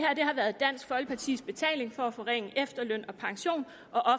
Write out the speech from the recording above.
her har været dansk folkepartis betaling for at forringe efterløn og pension og